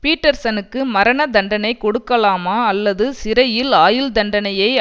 பீட்டர்சனுக்கு மரண தண்டனை கொடுக்கலாமா அல்லது சிறையில் ஆயுள்தண்டனையை